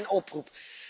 Vandaar mijn oproep.